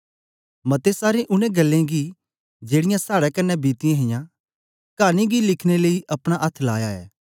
मतें सारें उनै ग्ल्लें गी जेड़ीयां साड़े कन्ने बीतीयां हां कानी गी लिखने लेई अपना अथ्थ लाया ऐ